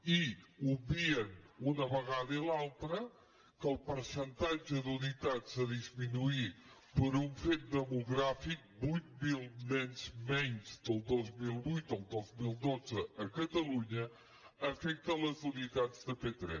i obvien una vegada i l’altra que el percentatge d’unitats a disminuir per un fet demogràfic vuit mil nens menys del dos mil vuit al dos mil dotze a catalunya afecta les unitats de p3